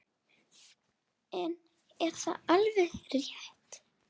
En er það alveg rétt?